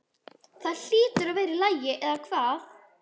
Það hlýtur að vera í lagi, eða hvað?